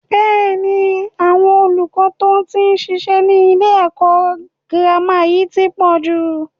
Bẹ́ẹ̀ni, àwọn olùkọ́ to tí ṣiṣẹ́ ni ilé ẹ̀kọ́ gírámà yìí tí pọ̀